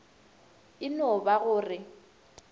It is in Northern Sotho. e no ba go re